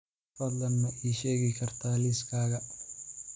fadlan ma ii sheegi kartaa liiskayga